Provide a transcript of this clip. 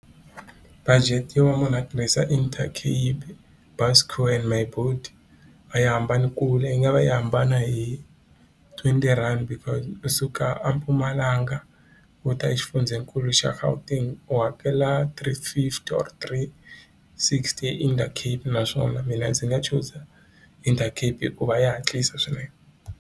Budget yo va munhu a tirhisa Intercape, Buscor and Myboet a yi hambani kule yi nga va yi hambana hi twenty rhandi because kusuka a Mpumalanga uta exifundzenikulu xa Gauteng u hakela three fifty or three sixty Intercape naswona mina ndzi nga chuza Intercape hikuva ya hatlisa swinene.